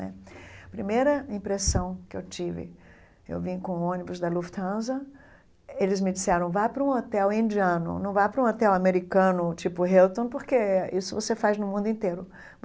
Né A primeira impressão que eu tive, eu vim com o ônibus da Lufthansa, eles me disseram, vá para um hotel indiano, não vá para um hotel americano, tipo o Hilton, porque isso você faz no mundo inteiro.